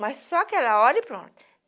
Mas só aquela hora e pronto.